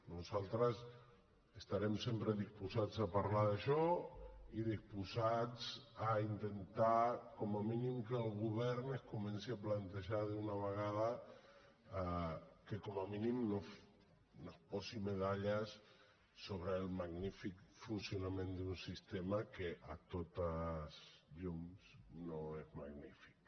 nosaltres estarem sempre disposats a parlar d’això i disposats a intentar com a mínim que el govern es comenci a plantejar d’una vegada que com a mínim no es posi medalles sobre el magnífic funcionament d’un sistema que sens dubte no és magnífic